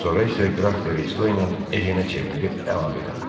Sonra isə Qraf De Resto ilə Ejenə çevrilib əlavə elədi: